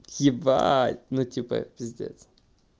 ебать ну типа пиздец